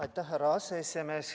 Aitäh, härra aseesimees!